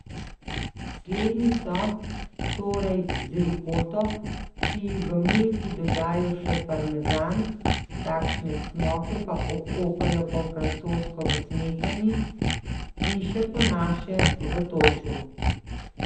Slednji so, torej, z rikoto, ki ji v Milki dodajo še parmezan, takšne cmoke pa okopajo po francosko v smetani in še po naše v toču.